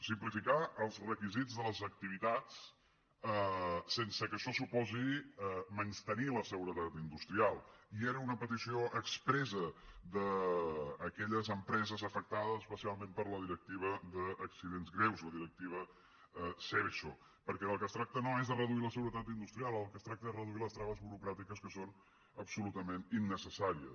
simplificar els requisits de les activitats sense que això suposi menystenir la seguretat industrial i era una petició expressa d’aquelles empreses afectades especialment per la directiva d’accidents greus la directiva seveso perquè del que es tracta no és de reduir la seguretat industrial del que es tracta és de reduir les traves burocràtiques que són absolutament innecessàries